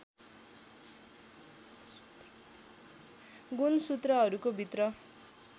गुणसूत्रहरूको भित्र